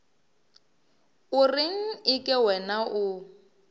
o reng eke wena o